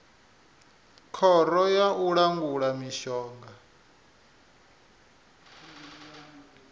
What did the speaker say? khoro ya u langula mishonga